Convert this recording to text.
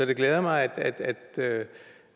det glæder mig